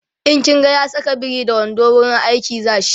in kin ga ya Saka biri da wando wurin aiki zashi